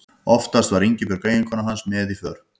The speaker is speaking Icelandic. Oftast var Ingibjörg eiginkona hans með í för.